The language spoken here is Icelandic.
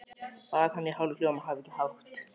Bað hana í hálfum hljóðum að hafa ekki hátt.